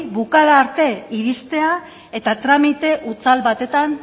bukaera arte iristea eta tramite hutsal batetan